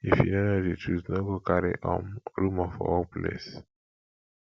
if you no know di truth no go carry um rumor for workplace